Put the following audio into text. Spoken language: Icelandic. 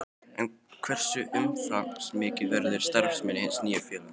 En hversu umfangsmikil verður starfssemi hins nýja félags?